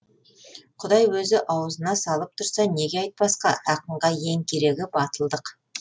құдай өзі ауызына салып тұрса неге айтпасқа ақынға ең керегі батылдық